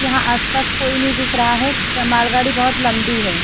यहां आसपास कोई नहीं दिख रहा है मालगाड़ी बहुत लंबी है।